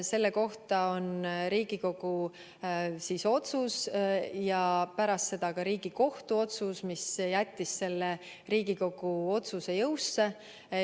Selle kohta on olemas Riigikogu otsus ja pärast seda ka Riigikohtu otsus, mis jättis selle Riigikogu otsuse jõusse.